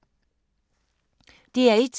DR1